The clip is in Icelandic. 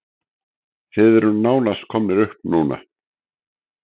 Þið eruð nánast komnir upp núna?